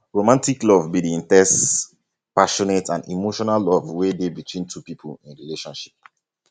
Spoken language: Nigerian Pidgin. romantic love be di in ten se passionate and emotional love wey dey between two people in relationship